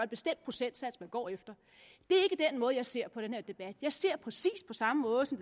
bestemt procent man går efter det er jeg ser den her debat jeg ser præcis på samme måde som